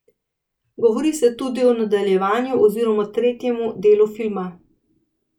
Govori se tudi o nadaljevanju oziroma tretjem delu filma.